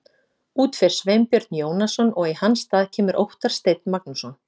Út fer Sveinbjörn Jónasson og í hans stað kemur Óttar Steinn Magnússon.